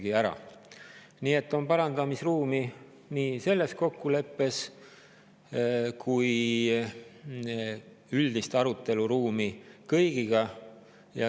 Nii et selle kokkuleppe puhul parandamisruumi ja üldise arutelu ruumi on.